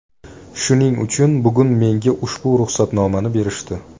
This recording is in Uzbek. Shuning uchun bugun menga ushbu ruxsatnomani berishdi.